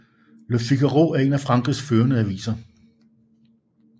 Le Figaro er en af Frankrigs førende aviser